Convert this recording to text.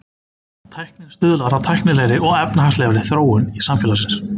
Tæknin stuðlar að tæknilegri og efnahagslegri þróun samfélagsins.